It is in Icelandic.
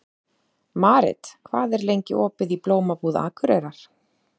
Marit, hvað er lengi opið í Blómabúð Akureyrar?